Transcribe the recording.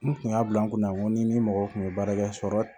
N kun y'a bila n kunna nko ni ni mɔgɔ kun ye baara kɛ sɔrɔ